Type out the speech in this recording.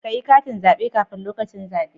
Kayi katin zabe kafin lokacin zabe